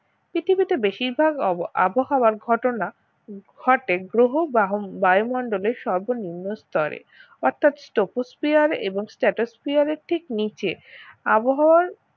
পৃথিবীতে বেশিরভাগ অব~ আবহাওয়ার ঘটনা ঘটে গ্রহ বা বায়ুমন্ডলের সর্বনিম্ন স্তরে অর্থাৎ ট্রপোস্ফিয়ার এবং স্ট্রাটোস্ফিয়ার এর ঠিক নিচে আবহাওয়া